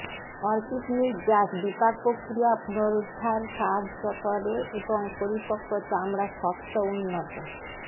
orchid নির্যাস বিপাক প্রক্রিয়া পুনরুদ্ধার সাহায্য করে এবং পরিপক্ক চামড়া শর্ত উন্নত